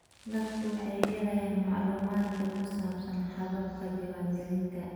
Dadku waxay helayaan macluumaadka ku saabsan hababka diiwaangelinta.